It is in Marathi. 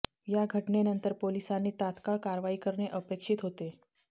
या घटनेनंतर पोलिसांनी तात्काळ कारवाई करणे अपेक्षित होते